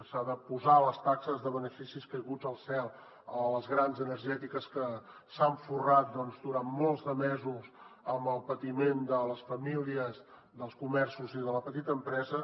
s’han de posar les taxes de beneficis caiguts del cel a les grans energètiques que s’han forrat durant molts de mesos amb el patiment de les famílies dels comerços i de la petita empresa